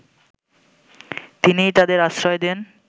তিনিই তাদের আশ্রয় দেন